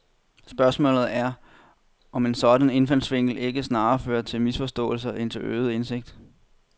Spørgsmålet er, om en sådan indfaldsvinkel ikke snarere fører til misforståelser end til forøget indsigt.